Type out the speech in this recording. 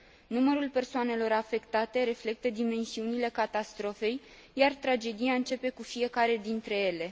Numărul persoanelor afectate reflectă dimensiunile catastrofei, iar tragedia începe cu fiecare dintre ele.